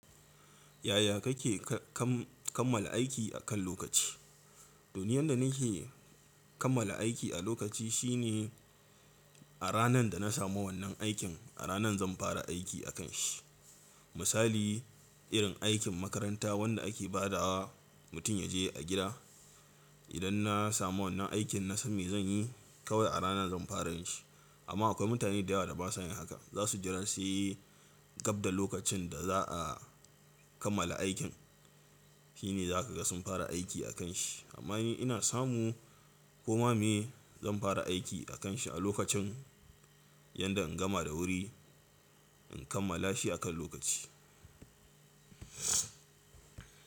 Yaya kake kam- kammala aiki akan lokaci? Duniyar da nake kammala aiki a lokaci shine a ranar da na samu wannan aikin, a ranan zan fara aiki akan shi. Misali, irin aikin makaranta wanda ake ba da wa mutum ya je a gida. Idan na samu wannan aikin na sani zan yi kawai a rana zan fara shi. Amma akwai mutane da yawa da ba su yin haka. Za su jira sai gab da lokacin da za a kammala aikin shine za ka ga sun fara aiki akan shi. Amma ni ina samu koma me zan fara aiki akan shi a lokacin, yanda in gama da wuri in kammala shi akan lokaci.